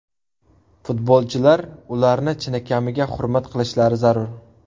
Futbolchilar ularni chinakamiga hurmat qilishlari zarur.